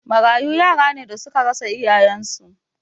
Marayu yara ne da suka rasa iyayen su